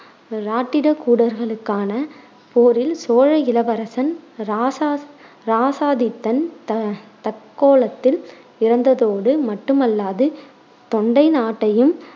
இராட்டிரகூடர்களுக்கான போரில் சோழ இளவரசன் இராசா~ இராசாதித்தன் த~ தக்கோலத்தில் இறந்ததோடு மட்டுமல்லாது தொண்டை நாட்டையும்